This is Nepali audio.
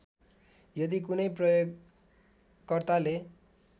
यदि कुनै प्रयोगकर्ताले